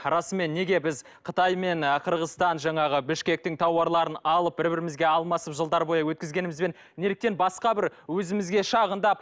расымен неге біз қытаймен мен ы қырғызстан жаңағы бішкектің тауарларын алып бір бірімізге алмасып жылдар бойы өткізгенімізбен неліктен басқа бір өзімізге шағындап